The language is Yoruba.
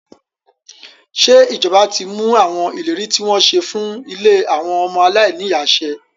Ṣé ìjọba ti mú àwọn ìlérí tí wọ́n ṣe fún ilé àwọn ọmọ aláìní ìyá ṣẹ?